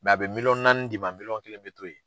a bɛ miliyɔn naani d'i ma miliyɔn kelen bɛ to ye.